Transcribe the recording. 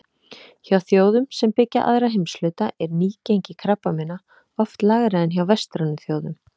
Hjá þjóðum sem byggja aðra heimshluta er nýgengi krabbameina oft lægra en hjá vestrænum þjóðum.